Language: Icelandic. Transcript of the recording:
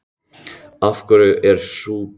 Af hverju er sú breyting?